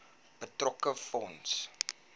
betrokke fonds